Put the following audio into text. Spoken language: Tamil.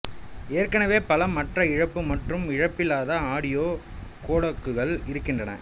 ஏற்கனவே பல மற்ற இழப்பு மற்றும் இழப்பில்லாத ஆடியோ கோடக்குகள் இருக்கின்றன